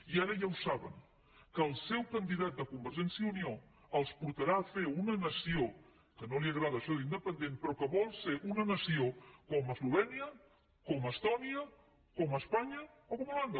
i ara ja saben que el seu candidat de convergència i unió els portarà a fer una nació que no li agrada això d’ independent però que vol ser una nació com eslovènia com estònia com espanya o com holanda